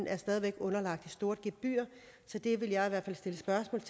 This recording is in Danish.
er stadig væk underlagt det store gebyr så det vil jeg i hvert fald stille spørgsmål